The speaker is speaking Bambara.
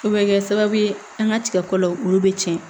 O bɛ kɛ sababu ye an ka tigako la olu bɛ tiɲɛ